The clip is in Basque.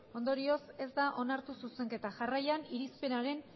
ondorioz ez da onartu zuzenketa jarraian irizpenaren